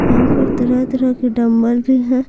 यहां पर तरह-तरह के डंबल भी हैं।